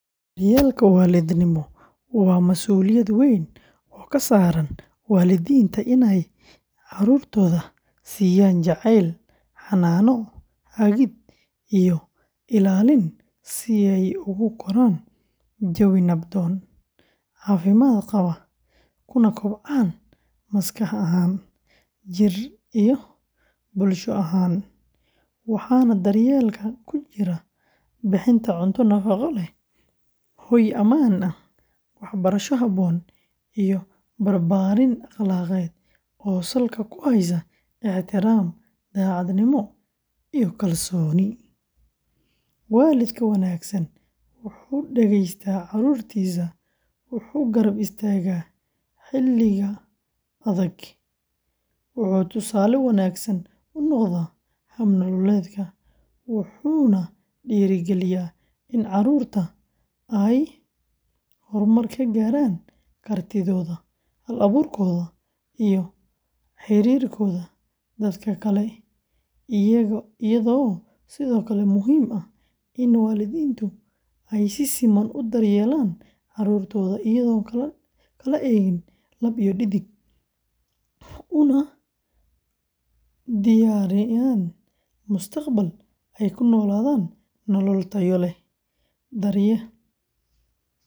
Daryeelka waalidnimo waa masuuliyad weyn oo ka saaran waalidiinta in ay carruurtooda siiyaan jacayl, xannaano, hagid, iyo ilaalin si ay ugu koraan jawi nabdoon, caafimaad qaba, kuna kobcaan maskax ahaan, jidheed, iyo bulsho ahaan, waxaana daryeelkan ku jira bixinta cunto nafaqo leh, hoy ammaan ah, waxbarasho habboon, iyo barbaarin akhlaaqeed oo salka ku haysa ixtiraam, daacadnimo, iyo kalsooni; waalidka wanaagsan wuxuu dhegeystaa carruurtiisa, wuxuu garab istaagaa xilliga adag, wuxuu tusaale wanaagsan u noqdaa hab nololeedka, wuxuuna dhiirrigeliyaa in carruurtu ay horumar ka gaaraan kartidooda, hal-abuurkooda, iyo xiriirkooda dadka kale, iyadoo sidoo kale muhiim ah in waalidiintu ay si siman u daryeelaan carruurtooda iyadoon la kala eegin lab iyo dhadig, una diyaariyaan mustaqbal ay ku noolaadaan nolol tayo leh.